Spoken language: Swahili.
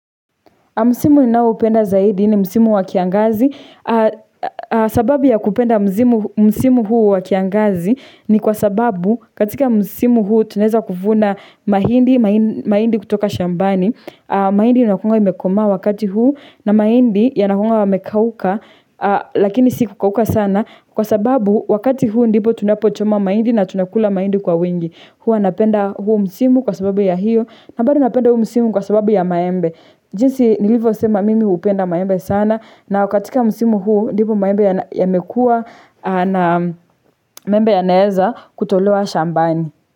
Msimu ninayopenda zaidi ni msimu wa kiangazi. Sababu ya kupenda msimu huu wa kiangazi ni kwa sababu katika msimu huu tunaeza kuvuna mahindi kutoka shambani. Mahindi inakunga imekomaa wakati huu na mahindi yanakunga yamekauka lakini si kukauka sana. Kwa sababu wakati huu ndipo tunapochoma mahindi na tunakula mahindi kwa wingi. Huwa napenda huo msimu kwa sababu ya hiyo, na bado napenda huu msimu kwa sababu ya maembe. Jinsi nilivyosema mimi hupenda maembe sana na katika msimu huu ndivyo maembe yamekuwa na maembe yanaeza kutolewa shambani.